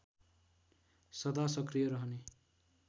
सदा सक्रिय रहने